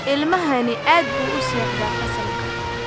Ilmahani aad buu u seexdaa fasalka